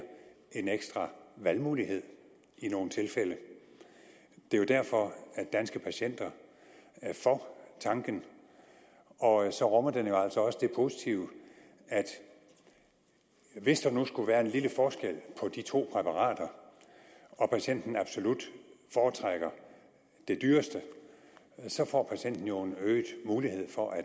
en ekstra valgmulighed i nogle tilfælde det er jo derfor danske patienter er for tanken og så rummer den jo altså også det positive at hvis der nu skulle være en lille forskel på de to præparater og patienten absolut foretrækker det dyreste så får patienten jo en øget mulighed for at